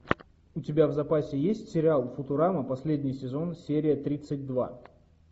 у тебя в запасе есть сериал футурама последний сезон серия тридцать два